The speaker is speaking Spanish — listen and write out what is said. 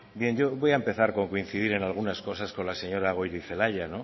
bien yo voy a empezar con coincidir en algunas cosas con la señora goirizelaia